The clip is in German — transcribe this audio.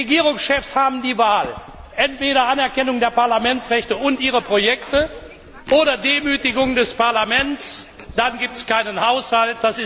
Die Regierungschefs haben die Wahl Entweder Anerkennung der Parlamentsrechte und ihrer Projekte oder Demütigung des Parlaments, dann gibt es keinen Haushalt.